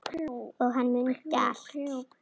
Og hann mundi allt.